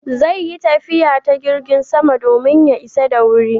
Zai yi tafiya ta jirgin sama domin ya isa da wuri